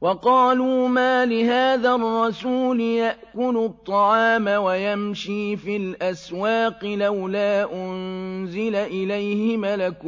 وَقَالُوا مَالِ هَٰذَا الرَّسُولِ يَأْكُلُ الطَّعَامَ وَيَمْشِي فِي الْأَسْوَاقِ ۙ لَوْلَا أُنزِلَ إِلَيْهِ مَلَكٌ